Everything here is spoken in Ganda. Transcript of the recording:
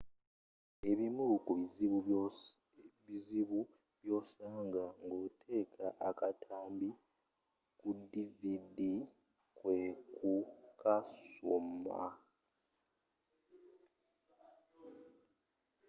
ebimu kubizibu byosanga ng'oteeka akatambi ku dvd kwekukasoma